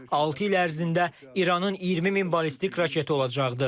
Altı il ərzində İranın 20 min ballistik raketi olacaqdı.